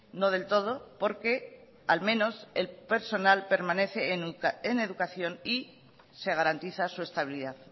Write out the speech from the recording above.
no del todo porque al menos el personal permanece en educación y se garantiza su estabilidad